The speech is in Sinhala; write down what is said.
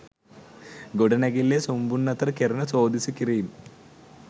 ගොඩනැගිල්ලේ සුන්බුන් අතර කෙරෙන සෝදිසි කිරීම්